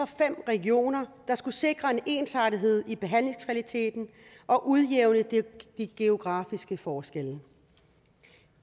fem regioner der skulle sikre en ensartethed i behandlingskvaliteten og udjævne de geografiske forskelle